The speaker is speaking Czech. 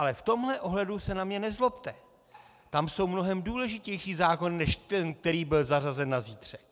Ale v tomhle ohledu se na mě nezlobte, tam jsou mnohem důležitější zákony než ten, který byl zařazen na zítřek.